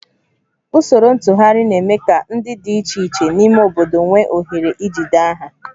Usoro ntụgharị na-eme ka ndị dị iche iche n'ime obodo nwee ohere ijide aha